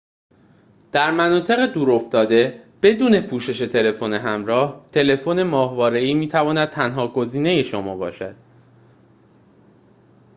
در مناطق دور افتاده بدون پوشش تلفن همراه تلفن ماهواره‌ای می‌تواند تنها گزینه شما باشد